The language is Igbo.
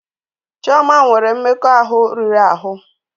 Chioma nwere mmekọahụ riri ahụ.